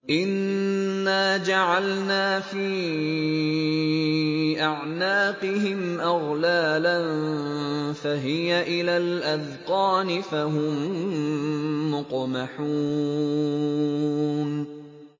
إِنَّا جَعَلْنَا فِي أَعْنَاقِهِمْ أَغْلَالًا فَهِيَ إِلَى الْأَذْقَانِ فَهُم مُّقْمَحُونَ